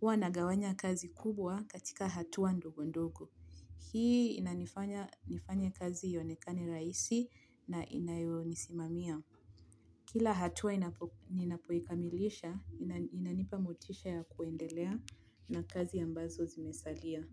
Huwa nagawanya kazi kubwa katika hatua ndogo ndogo. Hii inanifanya nifanye kazi ionekane rahisi na inayonisimamia. Kila hatua ninapoikamilisha, inanipa motisha ya kuendelea na kazi ambazo zimesalia.